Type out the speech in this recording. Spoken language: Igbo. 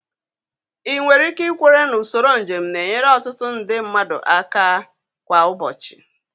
2. Ị nwere ike ikwere na usoro njem na-enyere ọtụtụ nde mmadụ aka kwa ụbọchị?